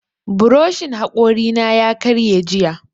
Buroshin haƙori na ya karye jiya